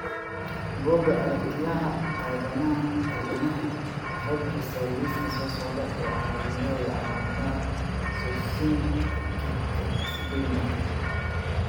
Bugga aragtiyaha aanadanaha waxay bixisaa liiska soo socda ee calaamadaha iyo calaamadaha Succinic acidemia.